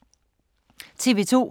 TV 2